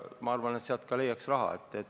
Ma arvan, et ka sealt leiaks raha.